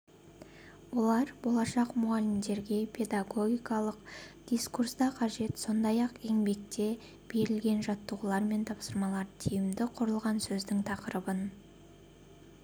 олар болашақ мұғалімдерге педагогикалық дискурста қажет сондай-ақ еңбекте берілген жаттығулар мен тапсырмалар тиімді құрылған сөздің тақырыбын